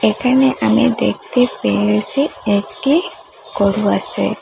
এখানে আমি দেখতে পেয়েসি একটি গরু আসে।